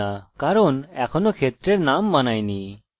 আপনি পাবেন না কারণ এখনও ক্ষেত্রের নাম বানাইনি